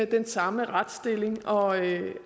den samme retsstilling og